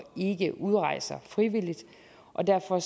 ikke udrejser frivilligt og derfor